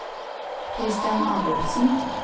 Kristian Adolfsen